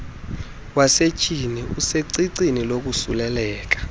wasetyhini usecicini lokosuleleka